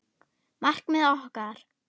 Markmið okkar?